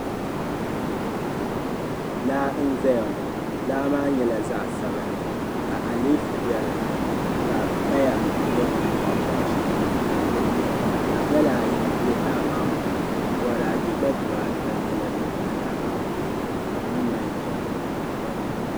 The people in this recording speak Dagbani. Laa n zaya ŋɔ laamba nyɛla zaɣisabinli ka aleefu be dini, ka paya nyɛ bɛn bɔɣibɔɣi shɛli n niŋ dini ka gala ayi be laa maa puuni bɔrade gba diba ata nyɛla din pahi laa maa puuni ka bɛ niŋ man ʒa n polli.